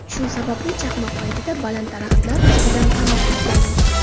Shu sababli chaqmoq paytida baland daraxtlar ostidan panoh izlamang.